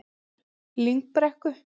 Lyngbrekku